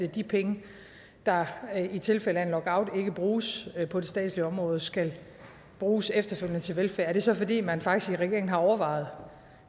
de penge der i tilfælde af en lockout ikke bruges på det statslige område skal bruges efterfølgende til velfærd er det så fordi man faktisk i regeringen har overvejet